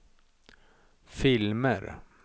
filmer